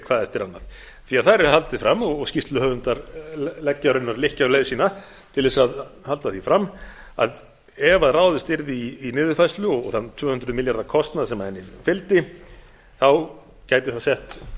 hvað eftir annað þar er haldið fram og skýrsluhöfundar leggja raunverulega lykkju á leið sína til að halda því fram að ef ráðist yrði í niðurfærslu og þann tvö hundruð milljarða kostnað sem henni fylgdi gæti það sett